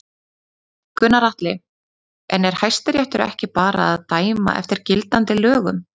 Gunnar Atli: En er Hæstiréttur ekki bara að dæma eftir gildandi lögum?